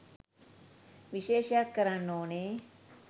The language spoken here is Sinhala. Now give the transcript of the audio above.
විශේෂයක් කරන්න ඕනේ.